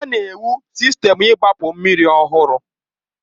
Ha na-ewu Sistemu igbapu mmiri ọhụrụ.